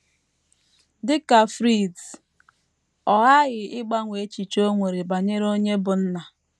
Dị ka Fritz, ọ ghaghị ịgbanwe echiche o nwere banyere onye bụ́ nna.